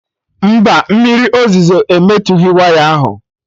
Mba, mmiri ozuzo emetughị waya ahụ